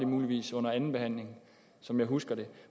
muligvis under andenbehandlingen som jeg husker det